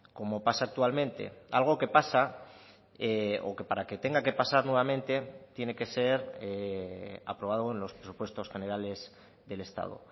como pasa actualmente algo que pasa o que para que tenga que pasar nuevamente tiene que ser aprobado en los presupuestos generales del estado